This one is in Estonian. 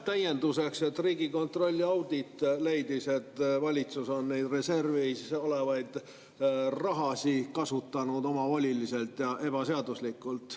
Täienduseks, et Riigikontrolli audit leidis, et valitsus on neid reservis olevaid rahasid kasutanud omavoliliselt ja ebaseaduslikult.